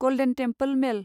गल्देन Temple मेल